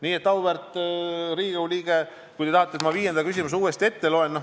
Nii et, auväärt Riigikogu liige, te tahate, et ma viienda küsimuse vastuse uuesti ette loen.